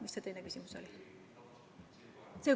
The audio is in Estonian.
Mis see teine küsimus oli?